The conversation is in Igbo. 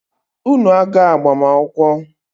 Unu aga agbamakwụkwọ!